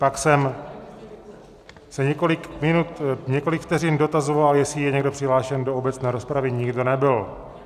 Pak jsem se několik vteřin dotazoval, jestli je někdo přihlášen do obecné rozpravy, nikdo nebyl.